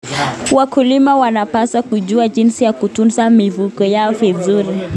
Wakulima wanapaswa kujua jinsi ya kutunza mifugo yao vizuri.